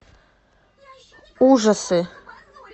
ужасы